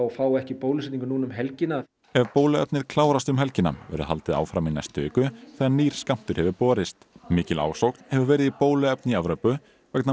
fái ekki bólusetningu nú um helgina ef bóluefnið klárast um helgina verður haldið áfram í næstu viku þegar nýr skammtur hefur borist mikil ásókn hefur verið í bóluefni í Evrópu vegna